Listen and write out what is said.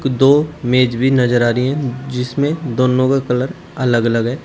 दो मेज भी नजर आ रही है जिसमें दोनो का कलर अलग अलग है।